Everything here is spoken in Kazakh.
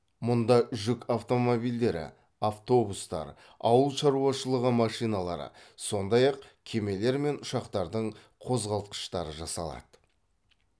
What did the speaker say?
мұнда жүк автомобильдері автобустар ауыл шаруашылығы машиналары сондай ақ кемелер мен ұшақтардың қозғалтқыштары жасалады